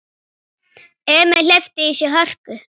Emil hleypti í sig hörku.